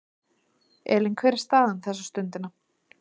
Elín, hver er staðan þessa stundina?